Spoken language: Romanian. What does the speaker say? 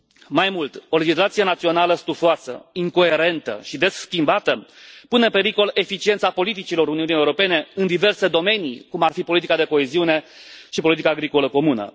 Mai mult, o legislație națională stufoasă, incoerentă și des schimbată pune în pericol eficiența politicilor Uniunii Europene în diverse domenii, cum ar fi politica de coeziune și politica agricolă comună.